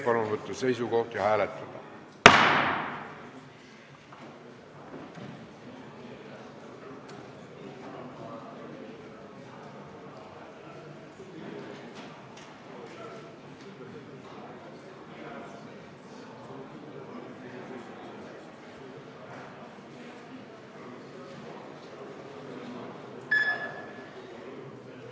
Palun võtta seisukoht ja hääletada!